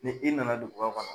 Ni i nana duguba kɔnɔ